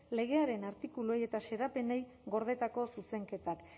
legearen artikuluei eta xedapenei gordetako zuzenketak